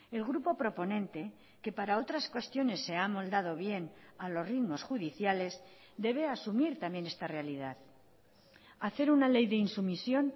el grupo proponente que para otras cuestiones se ha amoldado bien a los ritmos judiciales debe asumir también esta realidad hacer una ley de insumisión